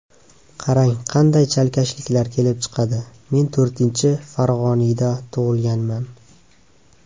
Qarang, qanday chalkashliklar kelib chiqadi: - Men to‘rtinchi farg‘oniyda tug‘ilganman.